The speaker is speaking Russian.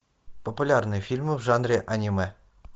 популярные фильмы в жанре аниме